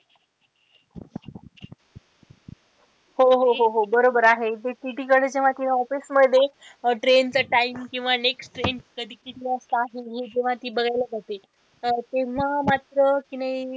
हो हो हो बरोबर आहे जे TC कडे जेव्हा ती office मध्ये train च time किंवा next train कधीची किंवा जेव्हा ती बघायला जाते तेव्हा मात्र कि नाही,